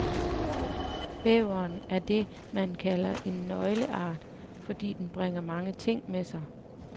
Bæveren er det, man kalder en nøgleart, fordi den bringer mange ting med sig.